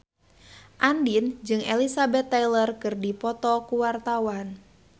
Andien jeung Elizabeth Taylor keur dipoto ku wartawan